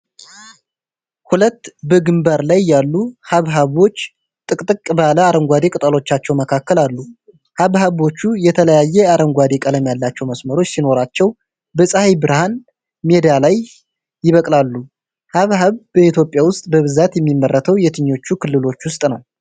ሁለት በግንባር ላይ ያሉ ሐብሐቦች ጥቅጥቅ ባለ አረንጓዴ ቅጠሎቻቸው መካከል አሉ። ሐብሐቦቹ የተለያየ አረንጓዴ ቀለም ያላቸው መስመሮች ሲኖራቸው፣ በፀሐይ ብርሃን ሜዳ ላይ ይበቅላሉ። ሐብሐብ በኢትዮጵያ ውስጥ በብዛት የሚመረተው የትኞቹ ክልሎች ውስጥ ነው?